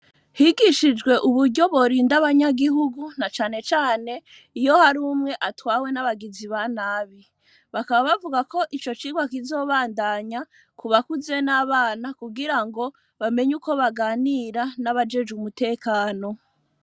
Higishijwe uburyo, borinda abanyagihugu, na cane cane, iyo hari umwe, atwawe n’abagizi ba nabi; bakaba bavuga ko, ico cigwa kizobandanya, ku bakuze, n’abana, kugira ngo, bamenye uko baganira, n’abajejwe umutekano.